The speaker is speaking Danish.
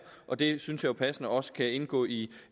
og det synes jeg passende også kan indgå i